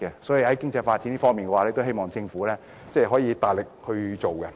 所以，在經濟發展方面，希望政府能加強推動。